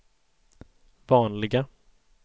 vanliga